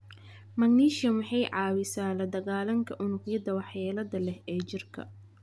Magnesium waxay caawisaa la dagaalanka unugyada waxyeelada leh ee jirka,